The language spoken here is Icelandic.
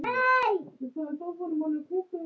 Öll okkar samtöl um bækur.